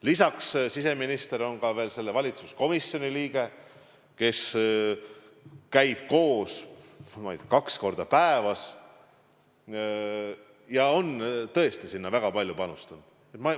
Lisaks on siseminister ka selle valitsuskomisjoni liige, kes käib koos kaks korda päevas, ja ta on tõesti sinna väga palju panustanud.